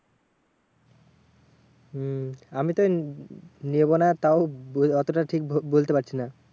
হম আমিতো নেবো না তাও ব এতটা ঠিক বলতে পারছি না।